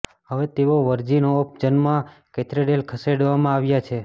હવે તેઓ virgin of જન્મના કેથેડ્રલ ખસેડવામાં આવ્યા છે